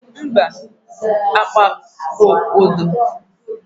mba, agba bụ odo